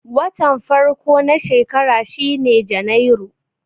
Watan farko na shekara shine Janairu.